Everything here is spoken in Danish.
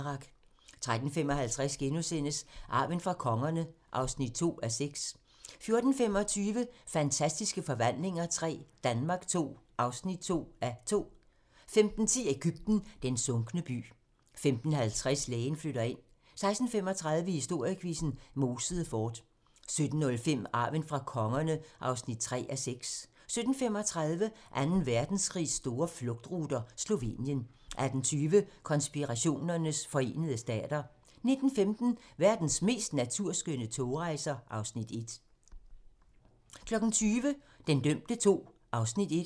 13:55: Arven fra kongerne (2:6)* 14:25: Fantastiske forvandlinger III - Danmark II (2:2) 15:10: Egypten - den sunkne by 15:50: Lægen flytter ind 16:35: Historiequizzen: Mosede Fort 17:05: Arven fra kongerne (3:6) 17:35: Anden Verdenskrigs store flugtruter - Slovenien 18:20: Konspirationernes forenede stater 19:15: Verdens mest naturskønne togrejser (Afs. 1) 20:00: Den dømte II (Afs. 1)